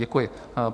Děkuji.